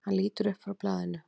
Hann lítur upp frá blaðinu.